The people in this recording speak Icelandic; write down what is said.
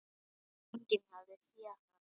Enginn hafði séð hann koma.